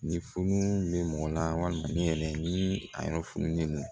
Ni fununen bɛ mɔgɔ la walima ne yɛrɛ ni a yɔrɔ fununen don